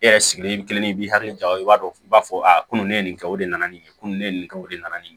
E yɛrɛ sigilen kelen i b'i hakili jɔ o b'a dɔn u b'a fɔ ko nin ne ye nin kɛ o de nana ni nin ye ko nin ne ye nin kɛ o de nana ni nin ye